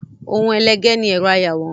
Ohun ẹlẹgẹ́ ni ẹ̀rọ ayàwòrán.